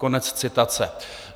Konec citace.